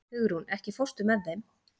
Hugrún, ekki fórstu með þeim?